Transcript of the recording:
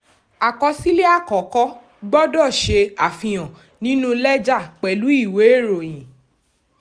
àkọsílẹ̀ àkọ́kọ́ gbọdọ̀ ṣe àfihàn nínú lẹ́jà pẹ̀lú ìwé ìròyìn.